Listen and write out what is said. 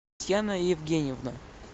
татьяна евгеньевна